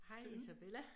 Hej Isabella